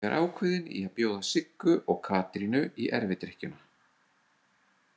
Ég er ákveðinn í að bjóða Siggu og Katrínu í erfidrykkjuna.